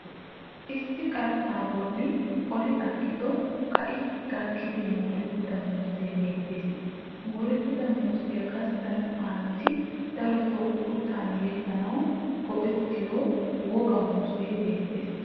Issi kqarxxaa bolla oli aggido kai gakkidi moorettida muuzzee beettes. Moorettida muuzziya gastta nu aayooti darotoo uttan yegganawu go'ettiyo wooqa muuzzee beettes.